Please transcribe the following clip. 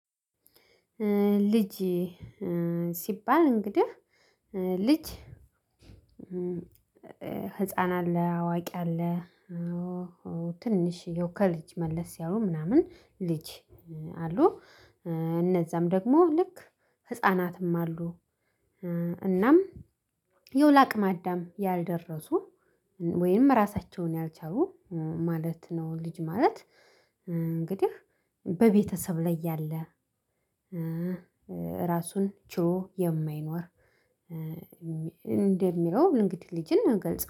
ልጅ ሲባል እንግዲህ ልጅ ህፃን አለ አዋቂ አለ ትንሽዬው ከልጅ መለስ ያለው ምናምን ልጅ አሉ። እነዛም ደግሞ ልክ ህፃናትም አሉ። እናም ያው ለአቅመ አዳም ያልደረሱ ወይም ራሳቸውን ያልቻሉ ማለት ነው። ልጅ ማለት እንግዲህ በቤተሰብ ላይ ያለ ራሱን ችሎ የማይኖር እንደሚለው እንግዲህ ልጅን እንገልጸው